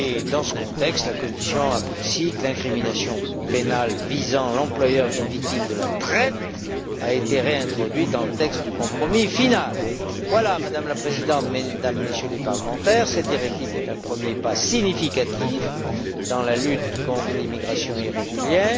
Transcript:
Dans ce contexte, la Commission apprécie que l'incrimination pénale visant l'employeur d'une victime de la traite ait été réintroduite dans le texte du compromis final. Madame la Présidente, Mesdames, Messieurs les parlementaires, cette directive est un premier pas significatif dans la lutte contre l'immigration irrégulière.